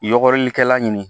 Yɔgɔrikɛla ɲini